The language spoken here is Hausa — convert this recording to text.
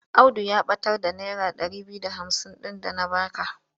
Audu ya ɓatar da naira ɗari biyu da hamsin ɗin da na ba ka.